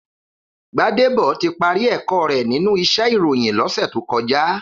Gbadebo ti pàri èkò rè ninú iṣè iróyin lòsè tókòjá